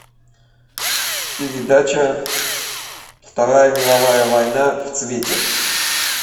передача вторая мировая война в цвете